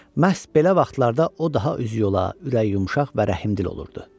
Məhz belə vaxtlarda o daha üzü yola, ürəyi yumşaq və rəhmdil olurdu.